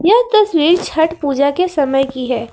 यह तस्वीर छठ पूजा के समय की है।